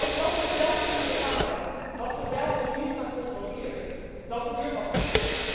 Maar als landen zelf kunnen bepalen wat ze wel of niet gaan controleren, dan gebeurt dat niet.